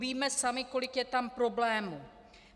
Víme sami, kolik je tam problémů.